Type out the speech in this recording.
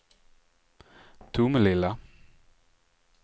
Tomelilla